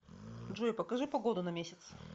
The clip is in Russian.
джой покажи погоду на месяц